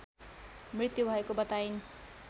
मृत्यु भएको बताइन्